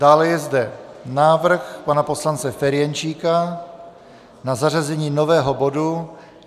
Dále je zde návrh pana poslance Ferjenčíka na zařazení nového bodu